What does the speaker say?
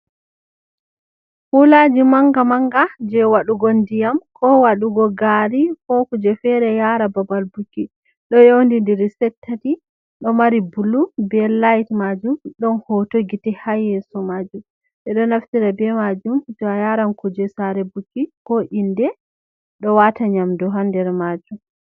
Kulaji manga manga je waɗugo ndiyam ko waɗugo gari ko kuje fere yara babal buki ɗo yawindiri set tati ɗo mari bulu be lait majum ɗon hoto gite ha yeso majum ɓeɗo naftira be majum to a yaran kuje sare buki ko inde ɗo wata nyamdu ha nder majum.